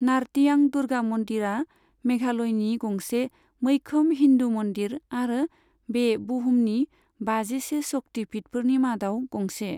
नार्तियां दुर्गा मन्दिरा मेघालयनि गंसे मैखोम हिन्दु मन्दिर आरो बे बुहुमनि बाजिसे शक्ति पीठफोरनि मादाव गंसे।